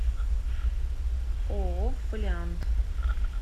ооо фолиант